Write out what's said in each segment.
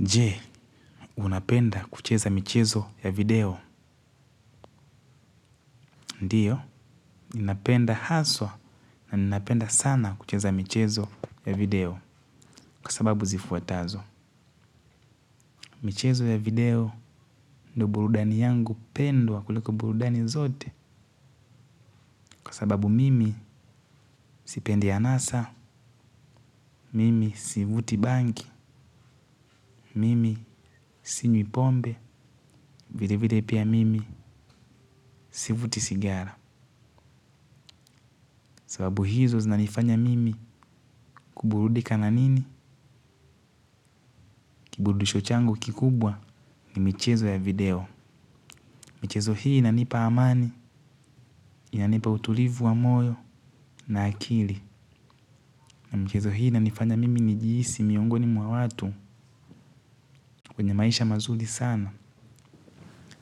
Je, unapenda kucheza michezo ya video, ndiyo. Ninapenda haswa na ninapenda sana kucheza michezo ya video. Kwa sababu zifuatazo michezo ya video ndo burudani yangu pendwa kuliko burudani zote. Kwa sababu mimi sipende hanasa, mimi sivuti bangi. Mimi sinywipombe, vile vile pia mimi sivuti sigara. Sababu hizo zinanifanya mimi kuburudika na nini. Kibudisho changu kikubwa ni michezo ya video. Michezo hii inanipa amani. Inanipa utulivu wa moyo na akili na michezo hii inanifanya mimi nijihisi miongoni mwa watu. Kwenye maisha mazuri sana.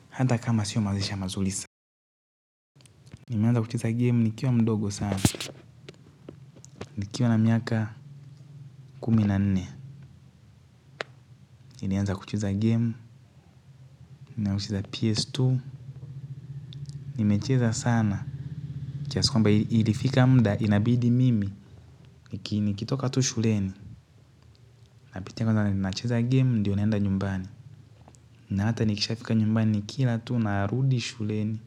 Hata kama sio maisha mazuri sana. Nimeanza kuchuza game nikiwa mdogo sana. Nikiwa na miaka kumi na nne. Nilianza kuchuza game. Nilanza kucheza PS2. Nimecheza sana kiasi kwamba ilifika muda inabidi mimi nikitoka tu shuleni. Napitia kwanza nacheza game, ndiyo naenda nyumbani na hata nikisha fika nyumbani nikila tu, narudi shuleni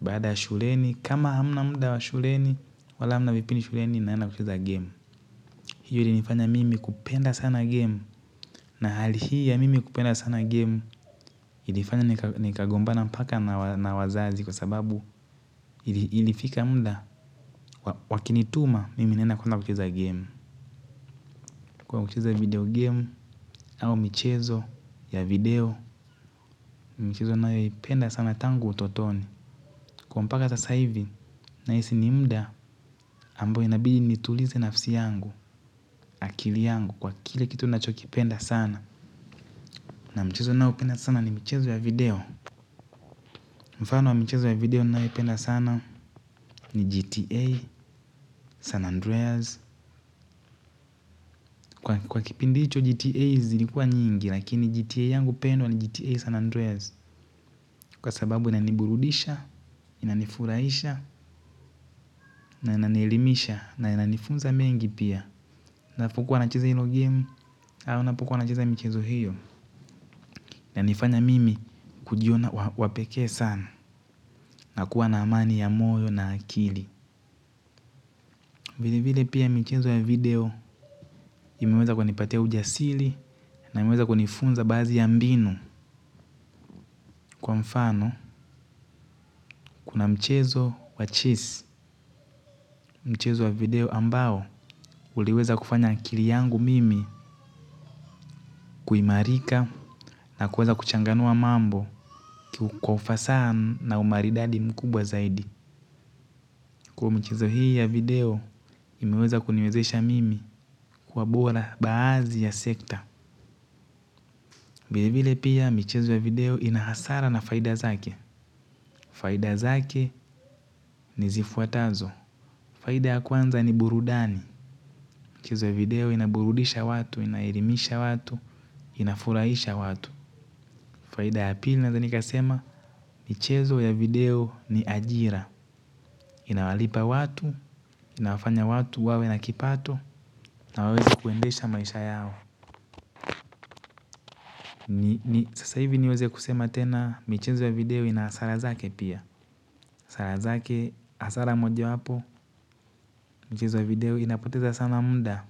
baada ya shuleni kama hamna muda wa shuleni wala hama vipindi shuleni, naenda kucheza game hiyo ilinifanya mimi kupenda sana game na hali hii ya mimi kupenda sana game ilinifanya nikagombana mpaka na wazazi kwa sababu ilifika muda, wakinituma, mimi nenda kucheza game kucheza video game, au michezo ya video. Michizo ninayoipenda sana tangu utotoni. Kwa mpaka sasa hivi nahisi ni muda. Ambyo inabili nitulize nafsi yangu, akili yangu kwa kile kitu nachoki penda sana na mchezo naopenda sana ni michezo ya video. Mfano wa mchezo ya video nayoipenda sana ni GTA San Andreas. Kwa kipindi hicho GTA zilikua nyingi. Lakini GTA yangu pendwa ni GTA San Andreas. Kwa sababu inaniburudisha, inanifurahisha na inanielimisha na inanifunza mengi pia nafukuwa nacheza hilo game au napukuwa nacheza mchezo hiyo inanifanya mimi kujiona wa pekee sana na kuwa na amani ya moyo na akili vile vile pia mchezo ya video imeweza kunipatea ujasiri na imeweza kunifunza baadhi ya mbinu kwa mfano kuna mchezo wa cheese mchezo wa video ambao uliweza kufanya akili yangu mimi kuhimarika na kuweza kuchanganua mambo kwa ufasaa na umaridadi mkubwa zaidi kwa hiyo, michezo hii ya video imeweza kuniwezesha mimi kuwa bora baadhi ya sekta vile vile pia mchezo ya video inahasara na faida zake. Faida zake ni zifuatazo. Faida ya kwanza ni burudani. Mchezo ya video inaburudisha watu, inahelimisha watu, inafurahisha watu. Faida ya pili naweza nikasema mchezo ya video ni ajira. Inawalipa watu, inafanya watu, wawe na kipato, na waweze kuendesha maisha yao. Ni sasa hivi niweze kusema tena michezo ya video inahasara zake pia hasara zake hasara moja wapo michezo ya video inapoteza sana muda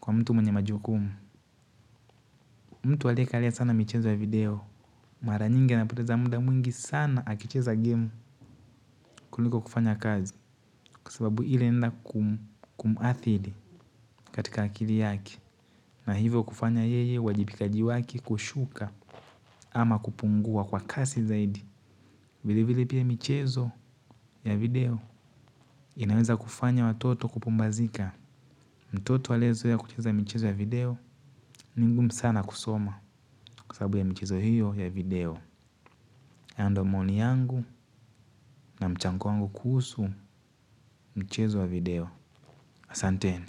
kwa mtu mwenye majukumu mtu aliyekalia sana mcheza wa video mara nyingi anapoteza muda mwingi sana akicheza game kuliko kufanya kazi. Kwa sababu ile inaenda kumhadhiri katika akili yake na hivyo kufanya yeye uwajibikaji wake kushuka ama kupungua kwa kasi zaidi. Vili vili pia michezo ya video. Inaweza kufanya watoto kupumbazika. Mtoto aliyezoea kucheza michezo ya video ni ngumu sana kusoma kwa sababu ya michezo hiyo ya video hayo ndo maoni yangu na mchango wangu kuhusu michezo ya video. Asante.